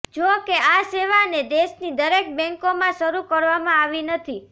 જો કે આ સેવાને દેશની દરેક બેંકોમાં શરૂ કરવામાં આવી નથી